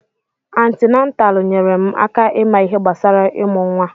Antinataalu nyèrè m aka ịma ihe gbasara imụ nwa.